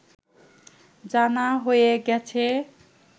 জানা হয়ে গেছে